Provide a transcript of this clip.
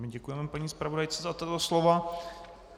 My děkujeme paní zpravodajce za tato slova.